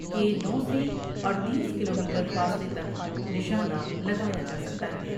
کے نو سے اڈتیس کلومیٹر فاصلے تک نشانہ لگایا جا سکتا ہے ۔